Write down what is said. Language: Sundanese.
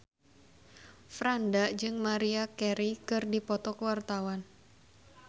Franda jeung Maria Carey keur dipoto ku wartawan